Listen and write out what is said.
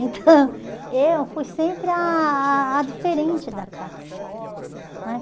Então, eu fui sempre a a a diferente da casa né.